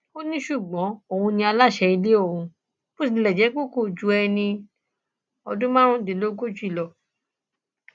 ó ní ṣùgbọn òun ni aláṣẹ ilé ọhún bó tilẹ jẹ pé kò ju ẹni ọdún márùndínlógójì lọ